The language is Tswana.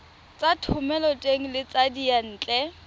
tsa thomeloteng le tsa diyantle